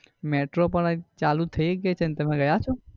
metro પણ ચાલુ જ થઇ ગઈ છે ને તમે ગયા છો?